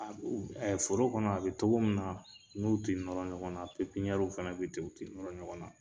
An u ɛ foro kɔnɔ a be togo mu nan na n'u te nɔrɔ ɲɔgɔn na pipinɲɛru fɛnɛ be u te nɔrɔ ɲɔgɔn na